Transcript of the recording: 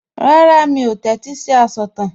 Rárá, mi ò tẹ́tí sí asọ̀tàn